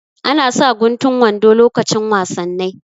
Ana sa guntun wando lokacin wasannai